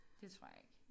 Det tror jeg ikke